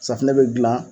Safunɛ bɛ dilan